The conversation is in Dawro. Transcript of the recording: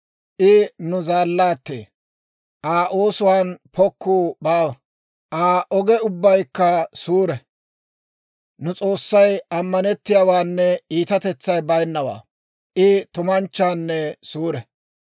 I nu zaallaattee, Aa oosuwaan pokkuu baawa; Aa oge ubbaykka suure. Nu S'oossay ammanettiyaawaanne iitatetsay bayinnawaa; I tumanchchanne suure.